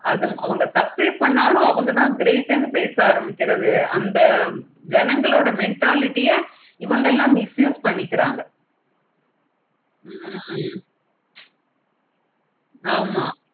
அவுங்க தப்பே பண்ணாலும் அவுங்க தான் correct னு பேச ஆரம்பிக்கிறது ஜனங்களோட mentality யா இவங்க எல்லாம் misuse pannikaanga. ஹம் ஆமா